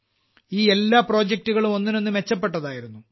ഈ എല്ലാ പ്രൊജെക്ടുകളും ഒന്നിനൊന്ന് മെച്ചപ്പെട്ടതായിരുന്നു